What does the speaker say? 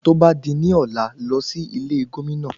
Tó bá di ní ọ̀lá, lọ sí ilé Gómìnà.